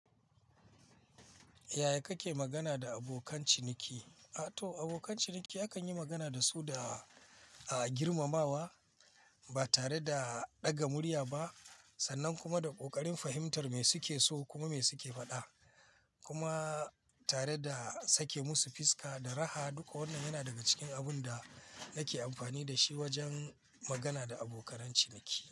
Yaya kake magana da abokan ciniki? A to abokan ciniki akan yi magana da su da, a girmamawa ba tare da ɗaga murya ba sannan kuma da ƙoƙarin fahimtar me suke so kuma me suke faɗa. Kuma tare da sake musu fiska da raha. Duka wannan yana daga cikin abun da nake amfani da shi wajen magana da abokan ciniki.